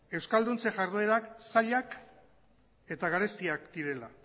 euskalduntze jarduerak zailak eta garestiak direla